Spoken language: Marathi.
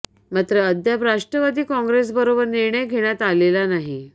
मात्र अद्याप राष्ट्रवादी काँग्रेसबरोबर निर्णय घेण्यात आलेला नाही